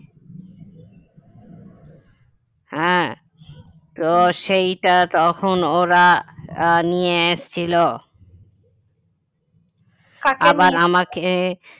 হ্যাঁ তো সেইটা তখন ওরা আহ নিয়ে আসছিল আবার আমাকে